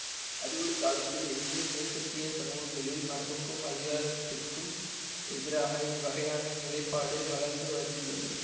அறிவொளிக் காலத்தில் இருந்து மேற்கத்திய சமூகங்களில் மரபுக்கும் அதிகாரத்துக்கும் எதிராக இவ்வகையான நிலைப்பாடு வளர்ந்து வந்துள்ளது